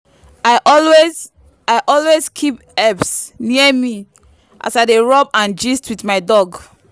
i always i always keep herbs near me as i dey rub and gist with my dog.